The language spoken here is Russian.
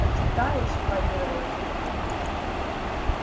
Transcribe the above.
почитаешь парировал сергей